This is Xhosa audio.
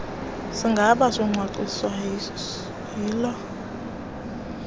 sigaba socwangciso yiloo